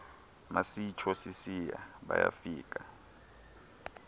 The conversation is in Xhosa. masitsho sisiya bayafika